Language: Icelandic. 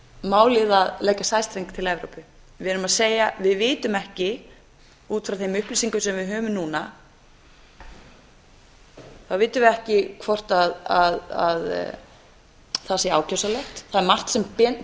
málið að leggja sæstreng til evrópu við erum að segja við vitum ekki út frá þeim upplýsingum sem við höfum núna vitum við ekki hvort það sé ákjósanlegt það er margt sem